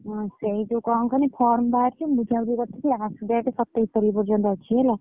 ହଁ, ସେଇଠୁ କଣ କହନି form ବାହାରିଛି ବୁଝା ବୁଝି କରୁଥିଲି date ସତେଇଶ ତାରିଖ ପର୍ଯ୍ୟନ୍ତ ଅଛି ହେଲା।